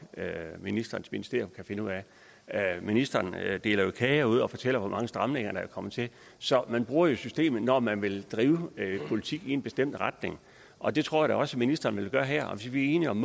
at ministerens ministerium kan finde ud af ministeren deler jo kage ud og fortæller hvor mange stramninger der er kommet til så man bruger jo systemet når man vil drive politik i en bestemt retning og det tror jeg da også ministeren vil gøre her og hvis vi er enige om